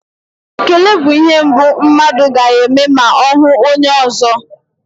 Ekele bụ ihe mbụ mmadụ ga-eme ma ọ hụ onye ọzọ.